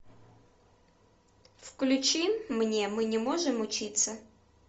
включи мне мы не можем учиться